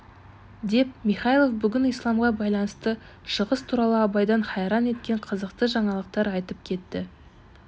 деп михайлов бүгін исламға байланысты шығыс туралы абайды хайран еткен қызықты жаңалықтар айтып кетті